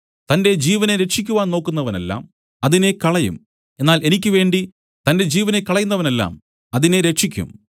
തന്റെ ജീവനെ രക്ഷിക്കുവാൻ നോക്കുന്നവനെല്ലാം അതിനെ കളയും എന്നാൽ എനിക്ക് വേണ്ടി തന്റെ ജീവനെ കളയുന്നവനെല്ലാം അതിനെ രക്ഷിക്കും